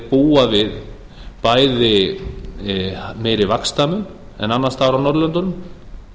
búa við bæði meiri vaxtamun en annars staðar á norðurlöndunum